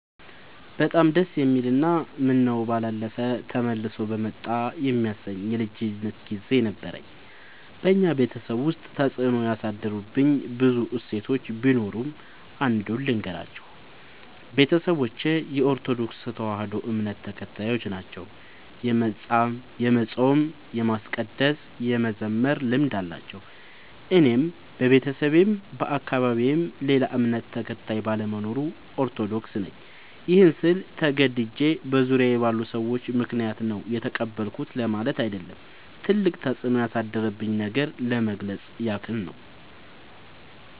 በጣም ደስ የሚል እና ምነው ባላለፈ ተመልሶ በመጣ የሚያሰኝ የልጅነት ግዜ ነበረኝ። በኛ ቤተሰብ ውስጥ ተፅዕኖ ያሳደሩብኝ ብዙ እሴቶች ቢኖሩም። አንዱን ልገራችሁ፦ ቤተሰቦቼ የኦርቶዶክስ ተዋህዶ እምነት ተከታዮች ናቸው። የመፃም የማስቀደስ የመዘመር ልምድ አላቸው። እኔም በቤተሰቤም በአካባቢዬም ሌላ እምነት ተከታይ ባለመኖሩ። ኦርቶዶክስ ነኝ ይህን ስል ተገድጄ በዙሪያዬ ባሉ ሰዎች ምክንያት ነው የተቀበልኩት ለማለት አይደለም ትልቅ ተፅኖ ያሳደረብኝን ነገር ለመግለፅ ያክል ነው።